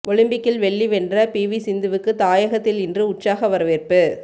ஒலிம்பிக்கில் வெள்ளி வென்ற பிவி சிந்துவுக்கு தாயகத்தில் இன்று உற்சாக வரவேற்பு